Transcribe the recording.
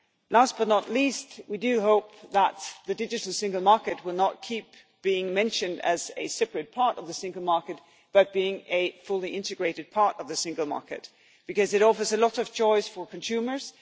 Last but not least, we hope that the digital single market will not keep being mentioned as a separate part of the single market, but will come to be seen as a fully integrated part of the single market, because it offers a lot of choice for consumers.